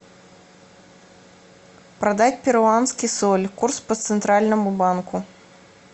продать перуанский соль курс по центральному банку